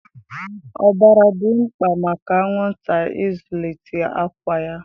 Ọbara dị mkpa maka anwụnta ịzụlite àkwá ya.